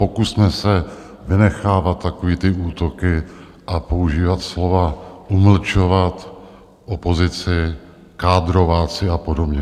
Pokusme se vynechávat takové ty útoky a používat slova umlčovat opozici, kádrováci a podobně.